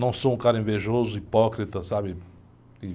Não sou um cara invejoso, hipócrita, sabe?